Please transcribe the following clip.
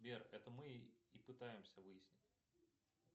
сбер это мы и пытаемся выяснить